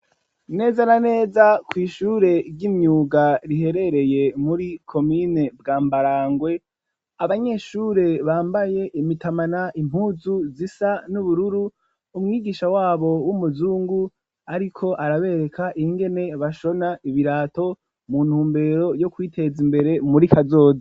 Neza na neza kw'ishure ry'imyuga riherereye muri komine bwa mbarangwe abanyeshure bambaye imitamana impuzu zisa n'ubururu umwigisha wabo w'umuzungu, ariko arabereka ingene bashona ibirato mu ntumbero yo kwiteza imbere umuri ko azo.